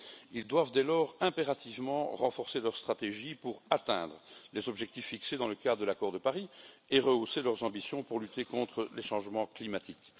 Ils doivent dès lors impérativement renforcer leur stratégie pour atteindre les objectifs fixés dans le cadre de l'accord de Paris et rehausser leurs ambitions pour lutter contre les changements climatiques.